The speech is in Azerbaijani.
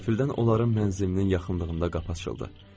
Qəfildən onların mənzilinin yaxınlığında qapı açıldı.